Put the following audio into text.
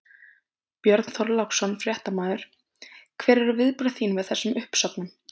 Björn Þorláksson, fréttamaður: Hver eru viðbrögð þín við þessum uppsögnum?